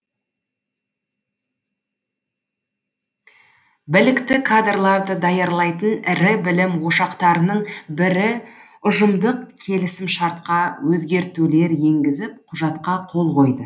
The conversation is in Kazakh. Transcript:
білікті кадрларды даярлайтын ірі білім ошақтарының бірі ұжымдық келісімшартқа өзгертулер енгізіп құжатқа қол қойды